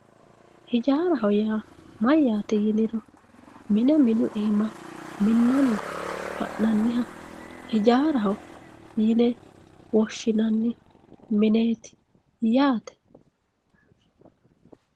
hijaaraho yaa mayyaate yiniro mine minu iima minnanni ha'nanniha hijaaraho yine woshshinanni mineeti yaate.